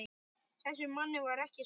Þessum manni var ekki svarað.